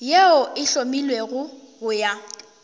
yeo e hlomilwego go ya